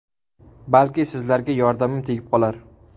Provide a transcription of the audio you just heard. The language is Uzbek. Balki, sizlarga yordamim tegib qolar.